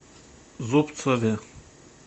зубцове